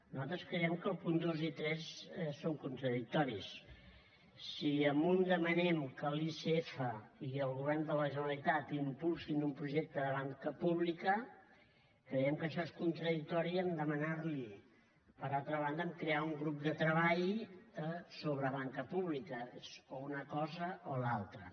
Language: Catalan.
nosaltres creiem que els punts dos i tres són contradictoris si en un demanem que l’icf i el govern de la generalitat impulsin un projecte de banca pública creiem que això és contradictori amb demanar li per altra banda crear un grup de treball sobre banca pública és o una cosa o l’altra